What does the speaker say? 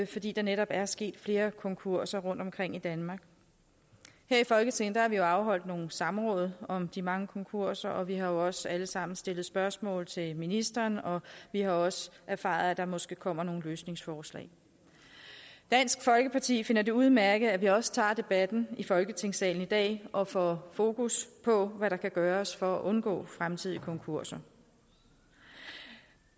fordi der netop er sket flere konkurser rundtomkring i danmark her i folketinget har vi jo afholdt nogle samråd om de mange konkurser og vi har også alle sammen stillet spørgsmål til ministeren og vi har også erfaret at der måske kommer nogle løsningsforslag dansk folkeparti finder det udmærket at vi også tager debatten i folketingssalen i dag og får fokus på hvad der kan gøres for at undgå fremtidige konkurser